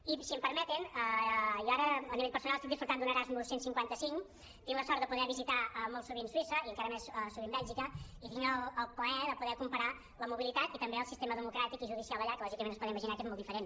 i si em permeten jo ara a nivell personal estic gaudint d’un erasmus cent i cinquanta cinc tinc la sort de poder visitar molt sovint suïssa i encara més sovint bèlgica i tinc el plaer de poder comparar la mobilitat i també el sistema democràtic i judicial allà que lò·gicament es poden imaginar que és molt diferent